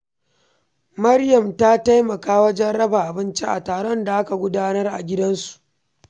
Maryam ta taimaka wajen raba abinci a taron da aka gudanar a gidansu.